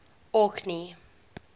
orkney